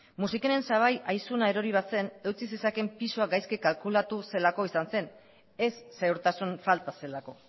musikenen sabai aizuna erori bazen eutsi zezakeen pisua gaizki kalkulatu zelako izan zen ez segurtasun falta zelako